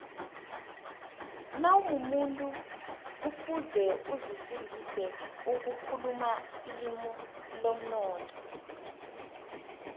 nawumumuntu kufuze uzifundise ukukhuluma ilimi lomnotho